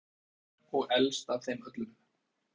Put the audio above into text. urður er norn fortíðar og elst af þeim öllum